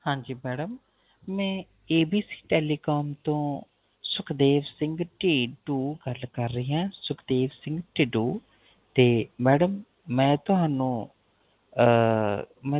ਹਾਂਜੀ Madam ਮੈਂ ABC telecom ਤੋ ਸੁਖਦੇਵ ਸਿੰਘ ਗਲ ਕਰ ਰਿਹਾ ਹਾਂ ਸੁਖਦੇਵ ਸਿੰਘ ਢਿਡੋਂ Madam ਮੈ ਤੁਹਾਨੂੰ ਆਹ